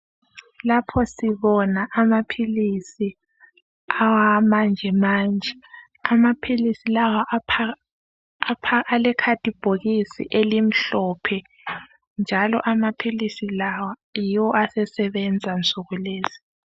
Lapha sibona amaphilisi awamanje manje amaphilisi lawa aphakathi alekhadibhokisi elimhlophe njalo amaphilisi lawa yiwo asesebenza nsukulezi.